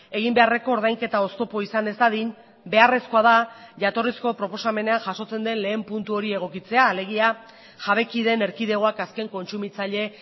egin beharreko ordainketa oztopo izan ez dadin beharrezkoa da jatorrizko proposamenean jasotzen den lehen puntu hori egokitzea alegia jabekideen erkidegoak azken kontsumitzaile